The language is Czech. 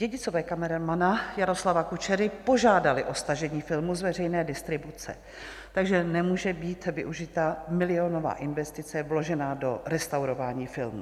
Dědicové kameramana Jaroslava Kučery požádali o stažení filmu z veřejné distribuce, takže nemůže být využita milionová investice vložená do restaurování filmu.